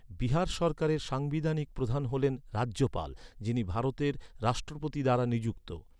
বিহার সরকারের সাংবিধানিক প্রধান হলেন রাজ্যপাল, যিনি ভারতের রাষ্ট্রপতি দ্বারা নিযুক্ত হন।